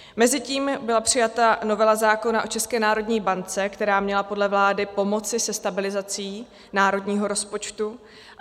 Mezitím byla přijata novela zákona o ČNB, která měla podle vlády pomoci se stabilizací národního rozpočtu.